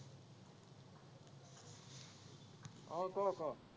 আহ ক ক